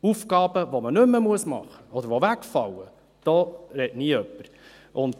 Aber von Aufgaben, die wegfallen, spricht nie jemand.